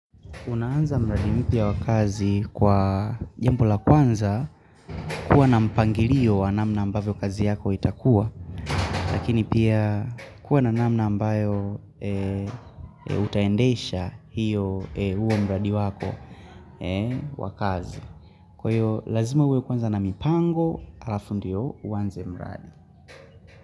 Unaanza mradi mpya wa kazi kwa jambo la kwanza kuwa na mpangirio wa namna ambavyo kazi yako itakua, lakini pia kuwa na namna ambayo utaendesha huo mradi wako wa kazi. Kwa hiyo, lazima uwe kwanza na mipango, alafu ndio uanze mradi.